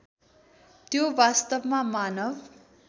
त्यो वास्तवमा मानव